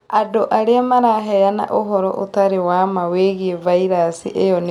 Andũ arĩa maraheana ũhoro ũtarĩ wa maa wĩgiĩ vairasi ĩyo nĩmakũnyitwo